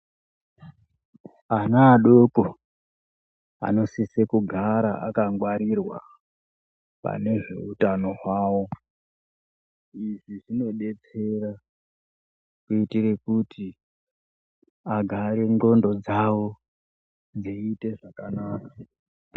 Ana adoko anosise kugara yakangwarirwa pane zveutano hwavo zvinobetsera ngekuti ana n'gondo dzavo dziite zvakanaka.